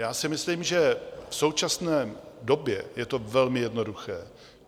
Já si myslím, že v současné době je to velmi jednoduché.